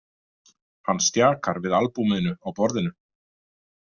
Hann stjakar við albúminu á borðinu.